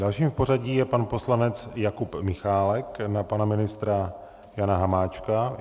Dalším v pořadí je pan poslanec Jakub Michálek na pana ministra Jana Hamáčka.